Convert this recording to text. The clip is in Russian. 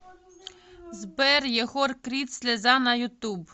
сбер егор крид слеза на ютуб